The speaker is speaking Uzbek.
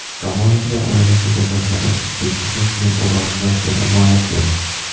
Romanovlar oilasi jasadlari ekspertizasining oraliq natijalari ma’lum qilindi.